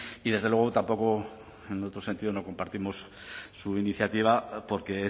y desde luego tampoco en otro sentido no compartimos su iniciativa porque